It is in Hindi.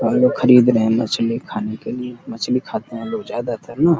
और वे खरीद रहे हैं मछली खाने के लिए मछली खाते हैं लोग ज्यादातर न।